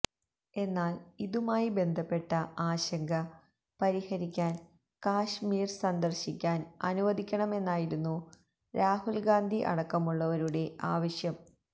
എന്നാല് ഇതുമായി ബന്ധപ്പെട്ട ആശങ്ക പരിഹരിക്കാന് കശ്മീര് സന്ദര്ശിക്കാന് അനുവദിക്കണമെന്നായിരുന്നു രാഹുല്ഗാന്ധി അടക്കമുള്ളവരുടെ ആവശ്യം